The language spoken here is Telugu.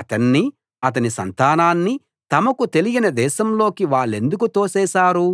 అతన్నీ అతని సంతానాన్నీ తమకు తెలియని దేశంలోకి వాళ్ళెందుకు తోసేశారు